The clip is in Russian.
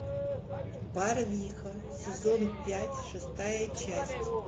барвиха сезон пять шестая часть